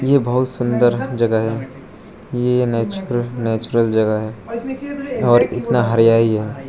ये बहोत सुंदर जगह है ये नेचुरल नेचुरल जगह है और इतना हरियाई है।